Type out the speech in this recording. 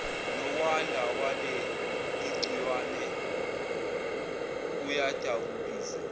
nokwanda kwaleligciwane kuyadabukisa